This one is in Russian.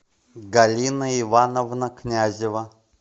галина ивановна князева